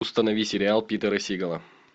установи сериал питера сигала